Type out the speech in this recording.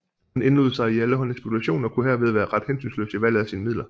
Hun indlod sig i alle hånde spekulationer og kunne herved være ret hensynsløs i valget af sine midler